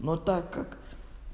ну так как